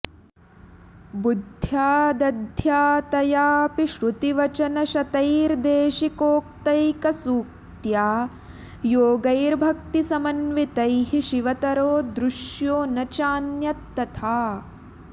बुद्धयादध्यातयापि श्रुतिवचनशतैर्देशिकोक्त्यैकसूक्त्या योगैर्भक्तिसमन्वितैः शिवतरो दृश्यो न चान्यत् तथा